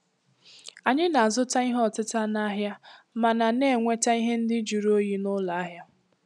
Anyị na-azụta ihe ọtịta n'ahịa, mana na-enweta ihe ndị jụrụ oyi n'ụlọ ahịa.